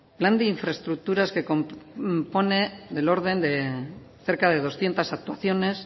plan de infraestructuras que compone del orden de cerca de doscientos actuaciones